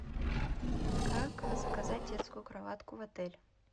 как заказать детскую кроватку в отеле